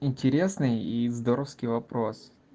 интересные и здоровский вопрос